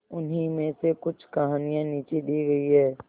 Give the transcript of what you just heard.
उन्हीं में से कुछ कहानियां नीचे दी गई है